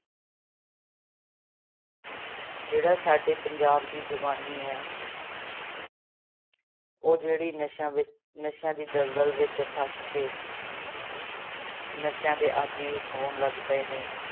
ਜਿਹੜਾ ਸਾਡੇ ਪੰਜਾਬ ਦੀ ਜਵਾਨੀ ਹੈ ਉਹ ਜਿਹੜੀ ਨਸ਼ਿਆਂ ਵਿੱ ਨਸ਼ਿਆਂ ਦੀ ਦਲਦਲ ਵਿੱਚ ਫਸ ਕੇ ਨਸ਼ਿਆਂ ਦੇ ਆਦਿ ਹੋਣ ਲੱਗ ਪਏ ਨੇ।